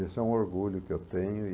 Esse é um orgulho que eu tenho e